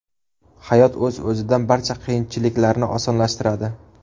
Hayot o‘z-o‘zidan barcha qiyinchiliklarni osonlashtiradi.